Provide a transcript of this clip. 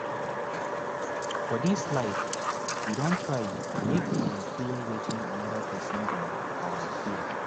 for dis life you don try make you feel wetin anoda pesin dey um feel